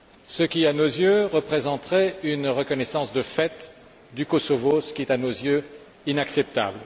ce qui, à nos yeux, représenterait une reconnaissance de fait du Kosovo, ce qui, selon nous, est inacceptable.